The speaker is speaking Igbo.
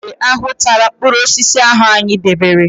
Enwe ahụ tara mpkụrụosisi ahụ anyị debere.